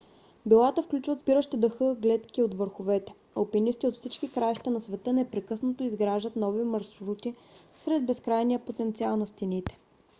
билата включват спиращи дъха гледки от върховете. алпинисти от всички краища на света непрекъснато изграждат нови маршрути сред безкрайния потенциал на стените